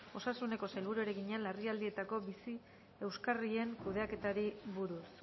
osasuneko sailburuari egina larrialdietako bizi euskarrien kudeaketari buruz